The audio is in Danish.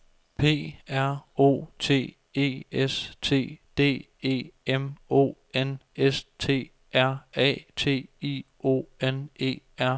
P R O T E S T D E M O N S T R A T I O N E R